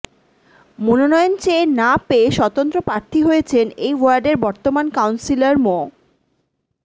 মনোনয়ন চেয়ে না পেয়ে স্বতন্ত্র প্রার্থী হয়েছেন এই ওয়ার্ডের বর্তমান কাউন্সিলর মো